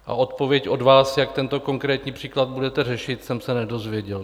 A odpověď od vás, jak tento konkrétní příklad budete řešit, jsem se nedozvěděl.